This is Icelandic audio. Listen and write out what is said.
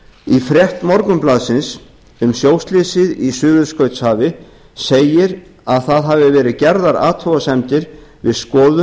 í frétt morgunblaðsins um sjóslysið í suðurskautshafi segir að það hafi verið gerðar athugasemdir við skoðun